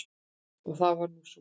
Það var nú svo.